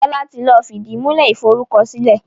Fola tí lọ fìdìmúlẹ́ iforúkọsílẹ̀